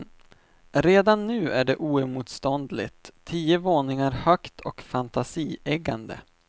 Redan nu är det oemotståndligt, tio våningar högt och fantasieggande.